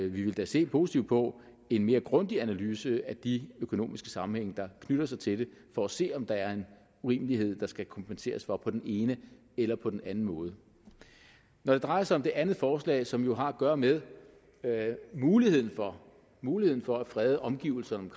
vi vil da se positivt på en mere grundig analyse af de økonomiske sammenhænge der knytter sig til det for at se om der er en urimelighed der skal kompenseres for på den ene eller på den anden måde når det drejer sig om det andet forslag som jo har at gøre med muligheden for muligheden for at frede omgivelserne